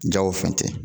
Jago fɛn tɛ